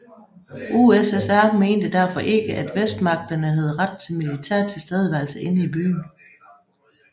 USSR mente derfor ikke at Vestmagterne havde ret til militær tilstedeværelse inde i byen